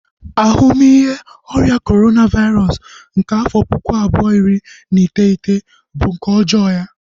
Ahumihe ọrịa Corona vairosụ nke afọ puku abuo, iri na iteghete bu nke ọjọọ ya